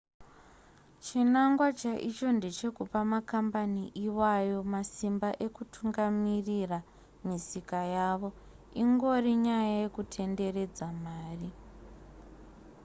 chinangwa chaicho ndechekupa makambani iwayo masimba ekutungamirira misika yavo ingori nyaya yekutenderedza mari